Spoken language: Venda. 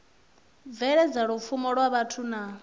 bveledza lupfumo lwa vhathu na